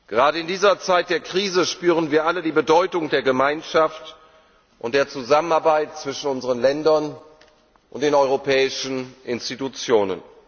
Gerade in dieser Zeit der Krise spüren wir alle die Bedeutung der Gemeinschaft und der Zusammenarbeit zwischen unseren Ländern und den europäischen Institutionen.